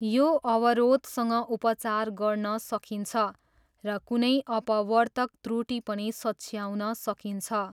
यो अवरोधसँग उपचार गर्न सकिन्छ, र कुनै अपवर्तक त्रुटि पनि सच्याउन सकिन्छ।